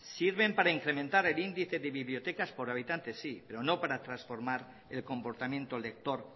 sirven para incrementar el índice de bibliotecas por habitante sí pero no para transformar el comportamiento lector